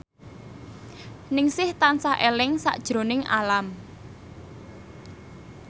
Ningsih tansah eling sakjroning Alam